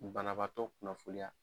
Banabaatɔ kunnafoniya